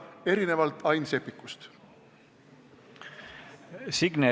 Signe Riisalo, palun!